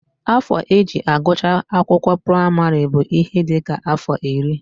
Afọ e ji agụcha akwụkwọ praịmarị bụ ihe dị ka afọ iri